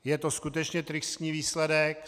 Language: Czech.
Je to skutečně tristní výsledek.